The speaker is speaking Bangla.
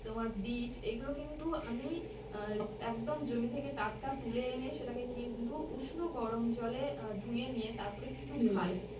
তোমার বিট এইগুলো কিন্তু আমি আহ একদম জমি থেকে টাটকা তুলে এনে সেটাকে কিন্তু উষ্ণ গরম জলে আহ ধুয়ে নিয়ে তারপরে